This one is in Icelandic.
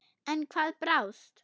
En hvað brást?